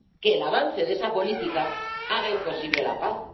Que el avance de esa política haga imposible la paz.